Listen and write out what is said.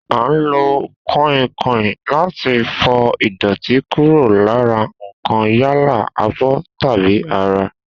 A ń lò kò̩ìnkò̩ìn láti fi fo̩ ìdò̩tí kúrò lára nǹkan yálà, abó̩ tàbí ara